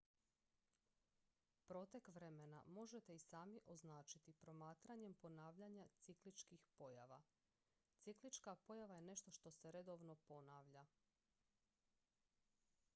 protek vremena možete i sami označiti promatranjem ponavljanja cikličkih pojava ciklička pojava je nešto što se redovno ponavlja